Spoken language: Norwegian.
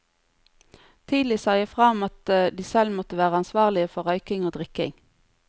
Tidlig sa jeg fra om at de selv må være ansvarlige for røyking og drikking.